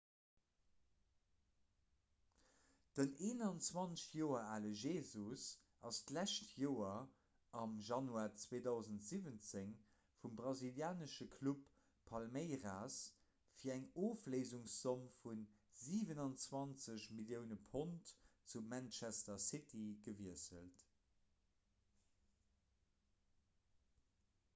den 21 joer ale jesus ass d'lescht joer am januar 2017 vum brasilianesche club palmeiras fir eng ofléisungszomm vu 27 millioune pond zu manchester city gewiesselt